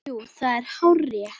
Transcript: Jú, það er hárrétt